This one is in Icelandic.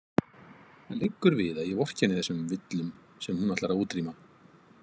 Það liggur við að ég vorkenni þessum villum sem hún ætlar að útrýma.